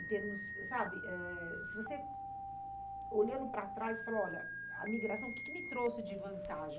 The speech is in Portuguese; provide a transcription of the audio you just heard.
em termos sabe? Eh... Se você, olhando para trás, você fala, olha, a migração o que que me trouxe de vantagem?